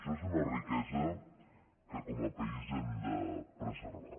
això és una riquesa que com a país hem de preservar